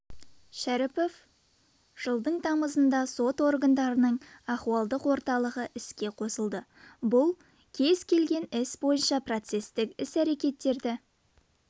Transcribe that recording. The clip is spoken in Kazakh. шәріпов жылдың тамызында сот органдарының ахуалдық орталығы іске қосылады бұл кез келген іс бойынша процестік іс-әрекеттерді